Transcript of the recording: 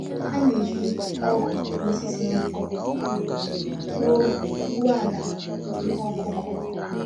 Ha na-eji ògù na osisi dị nkọ gwuo gwuo àlà ihe ọkụ́kụ́.